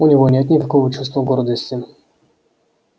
у него нет никакого чувства гордости